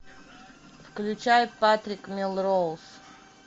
включай патрик мелроуз